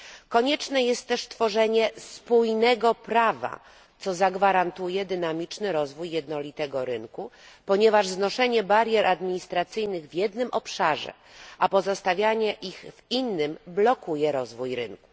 Konieczne jest też stworzenie spójnego prawa, co zagwarantuje dynamiczny rozwój jednolitego rynku, ponieważ znoszenie barier administracyjnych w jednym obszarze, a pozostawienie ich w innym, blokuje rozwój rynku.